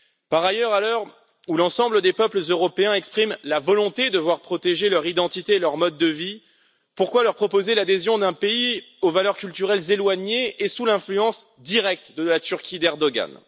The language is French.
Par ailleurs, à l'heure où l'ensemble des peuples européens expriment la volonté de voir protéger leur identité et leur mode de vie, pourquoi leur proposer l'adhésion d'un pays aux valeurs culturelles éloignées et sous l'influence directe de la Turquie d'Erdogan?